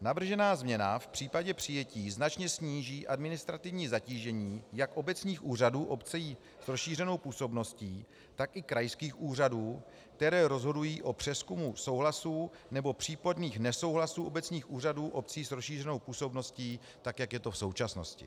Navržená změna v případě přijetí značně sníží administrativní zatížení jak obecních úřadů obcí s rozšířenou působností, tak i krajských úřadů, které rozhodují o přezkumu souhlasů nebo případných nesouhlasů obecních úřadů obcí s rozšířenou působností tak, jak je to v současnosti.